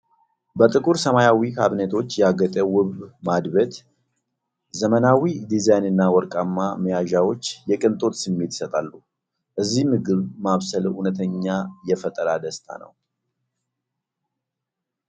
በጥቁር ሰማያዊ ካቢኔቶች ያጌጠ ውብ ማድቤት! ዘመናዊ ዲዛይንና ወርቃማ መያዣዎች የቅንጦት ስሜት ይሰጣሉ። እዚህ ምግብ ማብሰል እውነተኛ የፈጠራ ደስታ ነው!